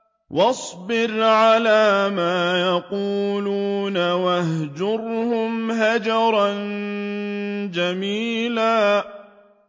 وَاصْبِرْ عَلَىٰ مَا يَقُولُونَ وَاهْجُرْهُمْ هَجْرًا جَمِيلًا